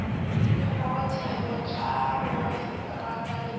dikgorotsheko tša bomaseterata le tše